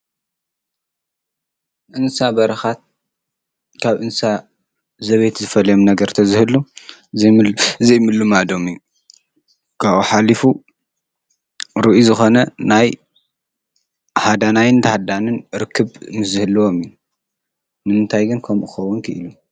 እንሳ በርኻት ካብ እንሳ ዘቤየት ዝፈልዮም ነገር ተዝህሉ ዘይምሉ ዘይምልማዶም እዩ ።ካብኡ ሓሊፉ ርኢ ዝኾነ ናይ ሓዳናይን ተህዳንን ርክብ ንዝህልዎም እዩ። ንንንታይ ግን ከምኡኸውን ክኢሉ?